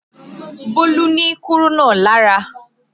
Bólú ni kúrúnà lára